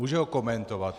Může ho komentovat.